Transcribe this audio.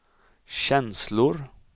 känslor